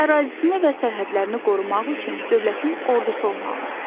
Ərazisini və sərhədlərini qorumaq üçün dövlətin ordusu olmalı idi.